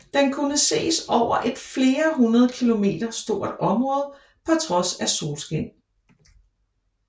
Den kunne ses over et flere hundrede kilometer stort område på trods af solskin